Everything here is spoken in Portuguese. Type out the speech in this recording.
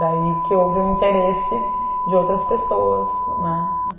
Daí que houve um interesse de outras pessoas, né?